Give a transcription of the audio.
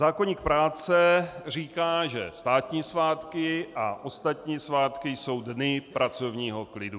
Zákoník práce říká, že státní svátky a ostatní svátky jsou dny pracovního klidu.